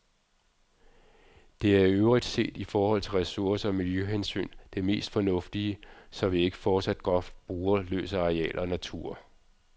Det er i øvrigt set i forhold til ressource- og miljøhensyn det mest fornuftige, så vi ikke fortsat groft bruger løs af areal og natur.